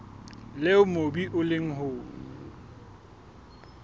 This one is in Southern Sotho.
leo mobu o leng ho